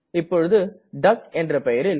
இப்பொழுது டக் என்ற பெயரில்